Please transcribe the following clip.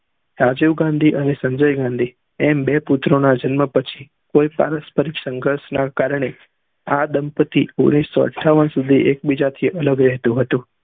રાજીવ ગાંધી અને સંજય ગાંધી એમ બે પુત્રો ના જન્મ પછી કોઈ સંઘર્ષ ના કારને આ દંપતી ઓગણીસૌ અત્થાવન સુધી એક બીજા થી અલગ એહ્તું હતું